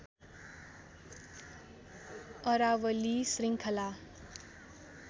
अरावली श्रृङ्खला